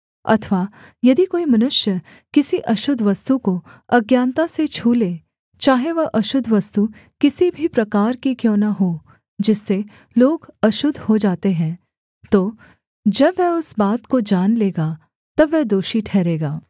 अथवा यदि कोई मनुष्य किसी अशुद्ध वस्तु को अज्ञानता से छू ले चाहे वह अशुद्ध वस्तु किसी भी प्रकार की क्यों न हो जिससे लोग अशुद्ध हो जाते हैं तो जब वह उस बात को जान लेगा तब वह दोषी ठहरेगा